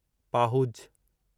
पाहुज